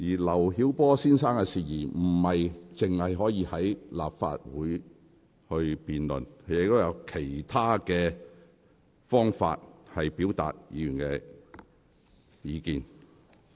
劉曉波先生的事宜並非只限在立法會會議上辯論，議員亦可透過其他途徑表達意見。